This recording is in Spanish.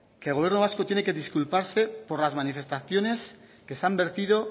que el gobierno vasco tiene que disculparse por las manifestaciones que se han vertido